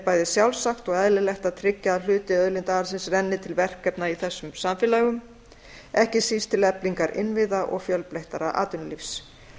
bæði sjálfsagt og eðlilegt að tryggja að hluti auðlindaarðsins renni til verkefna í þessum samfélögum ekki síst til eflingar innviða og fjölbreyttara atvinnulífs